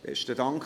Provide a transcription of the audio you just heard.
Besten Dank.